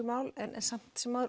mál en samt sem áður